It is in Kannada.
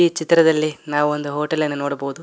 ಈ ಚಿತ್ರದಲ್ಲಿ ನಾವು ಒಂದು ಹೋಟೆಲ್ ಅನ್ನು ನೋಡಬಹುದು.